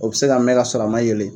O bɛ se ka mɛn ka sɔrɔ a ma yeelen